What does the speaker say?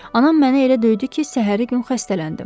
Anam məni elə döydü ki, səhəri gün xəstələndim.